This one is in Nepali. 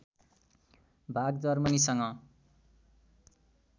भाग जर्मनीसँग